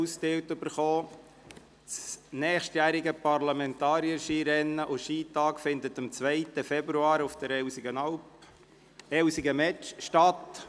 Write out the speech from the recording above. Das Skirennen und der Skitag 2019 der Parlamentarierinnen und Parlamentarier finden am 2. Februar 2019 auf Elsigen-Metsch statt.